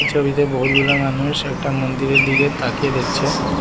এই ছবিতে বহুতগুলা মানুষ একটা মন্দিরের দিকে তাকিয়ে দেখছে।